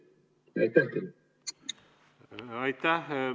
Aitäh!